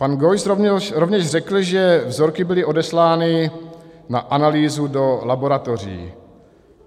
Pan Geuss rovněž řekl, že vzorky byly odeslány na analýzu do laboratoří.